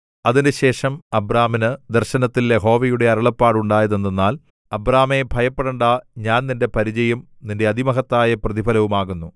അതിന്‍റെശേഷം അബ്രാമിന് ദർശനത്തിൽ യഹോവയുടെ അരുളപ്പാട് ഉണ്ടായതെന്തെന്നാൽ അബ്രാമേ ഭയപ്പെടേണ്ടാ ഞാൻ നിന്റെ പരിചയും നിന്റെ അതിമഹത്തായ പ്രതിഫലവും ആകുന്നു